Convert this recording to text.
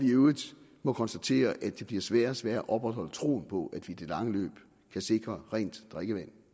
i øvrigt konstatere at det bliver sværere og sværere at opretholde troen på at vi i det lange løb kan sikre rent drikkevand